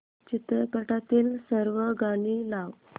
चित्रपटातील सर्व गाणी लाव